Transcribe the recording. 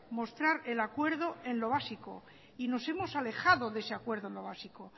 mostrar el acuerdo en lo básico y nos hemos alejado de ese acuerdo de lo básico